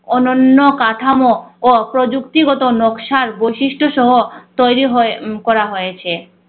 অনন্য কাঠামো ও প্রযুক্তিগত নকশার বৈশিষ্ট্য সহ তৈরি হয় উম করা হয়েছে।